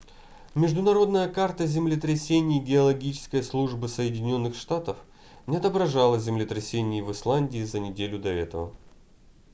международная карта землетрясений геологической службы соединённых штатов не отображала землетрясений в исландии за неделю до этого